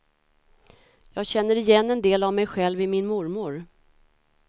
Jag känner igen en del av mig själv i min mormor.